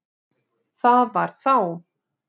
Það var þá